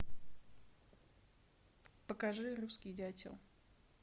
покажи русский дятел